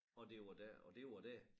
Og det var dér og det var dér